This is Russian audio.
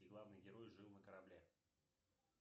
где главный герой жил на корабле